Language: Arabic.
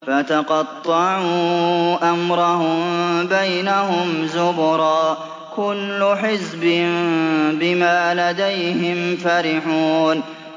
فَتَقَطَّعُوا أَمْرَهُم بَيْنَهُمْ زُبُرًا ۖ كُلُّ حِزْبٍ بِمَا لَدَيْهِمْ فَرِحُونَ